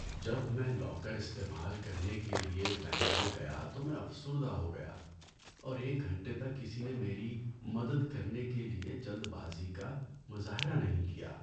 جب میں لاکر استعمال کرنے کے لیے بینک میں گیا تو میں افسردہ ہو گیا اور ایک گھنٹے تک کسی نے میری مدد کرنے کے لیے جلد بازی کا مظاہرہ نہیں کیا۔